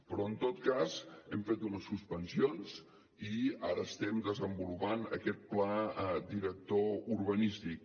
però en tot cas hem fet unes suspensions i ara estem desenvolupant aquest pla director urbanístic